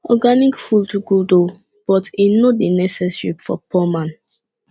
organic food good o but e no dey necessary for poor man